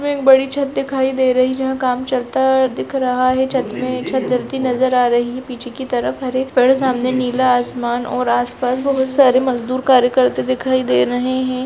में एक बड़ी छत दिखाई दे रही और काम चलता दिख रहा है छत में छत डलती नजर आ रही है पीछे की तरफ हरित और नीला आसमान और आस पास बहुत सारे मजदूर कार्य करते हुए दिखाई दे रहे है।